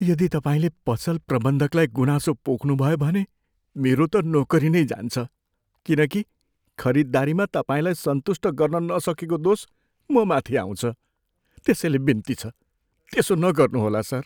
यदि तपाईँले पसल प्रबन्धकलाई गुनासो पोख्नुभयो भने मेरो त नोकरी नै जान्छ। किनकि खरिदारीमा तपाईँलाई सन्तुष्ट गर्न नसकेको दोष ममाथि आउँछ। त्यसैले बिन्ती छ, त्यसो नगर्नुहोला, सर।